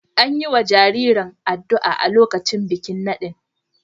An yi wa jaririn addu’a a lokacin bikin nadin.